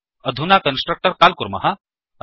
अधुना constructor call कुर्मः